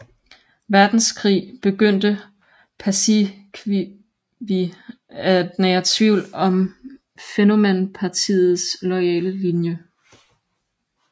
Verdenskrig begyndte Paasikivi at nære tvivl om Fennoman Partiets loyale linje